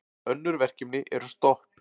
Önnur verkefni eru stopp.